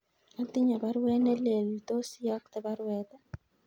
Atinye baruet nelelach , tos iyokte baruet